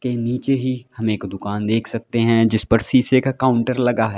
के नीचे ही हम एक दुकान देख सकते है जिस पर शीशे का काउंटर लगा है।